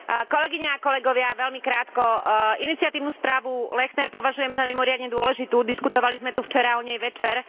Kolegyne a kolegovia, veľmi krátko iniciatívnu správu Lechner považujem za mimoriadne dôležitú, diskutovali sme tu včera o nej večer.